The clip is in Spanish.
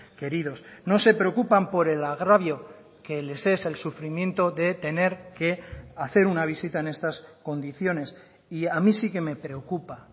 queridos no se preocupan por el agravio que les es el sufrimiento de tener que hacer una visita en estas condiciones y a mí sí que me preocupa